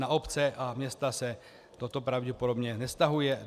Na obce a města se toto pravděpodobně nevztahuje.